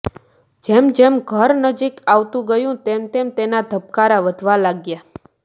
જેમ જેમ ઘર નજીક આવતું ગયું તેમ તેમ એના ધબકારા વધવા લાગ્યા